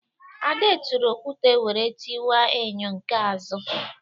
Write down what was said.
Ade tụrụ okwute wéré tiwa enyo nke azụ